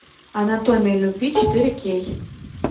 анатомия любви четыре кей